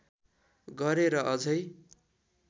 गरे र अझै